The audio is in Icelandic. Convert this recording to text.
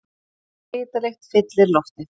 Svitalykt fyllir loftið.